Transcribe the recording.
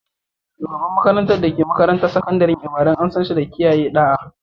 Shugaban makarantar da ke makarantar sakandaren Ibadan, an san shi da kiyaye ɗa'a.